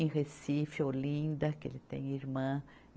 Em Recife, Olinda, que ele tem irmã.